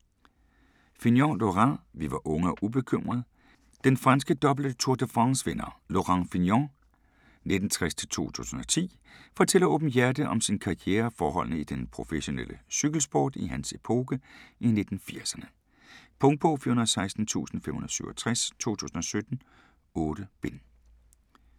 Fignon, Laurent: Vi var unge og ubekymrede Den franske dobbelte Tour de France vinder Laurent Fignon (1960-2010) fortæller åbenhjertigt om sin karriere og forholdene i den professionelle cykelsport i hans epoke i 1980'erne. Punktbog 416567 2017. 8 bind.